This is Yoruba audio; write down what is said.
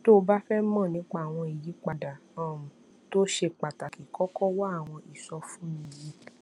tó o bá fé mò nípa àwọn ìyípadà um tó ṣe pàtàkì kókó wá àwọn ìsọfúnni yìí